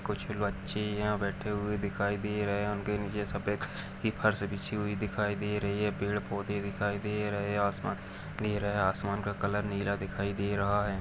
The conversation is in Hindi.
कुछ बच्चियों बैठे हुए दिखाई दे रहे हैं उनके नीचे सफेद की फर्श हुई दिखाई दे रही है पेड़ पौधे दिखाई दे रहे हैं आसमान नीला आसमान का कलर नीला दिखाई दे रहा है।